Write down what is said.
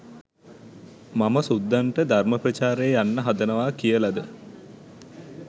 මම සුද්දන්ට ධර්ම ප්‍රචාරයේ යන්න හදනවා කියලද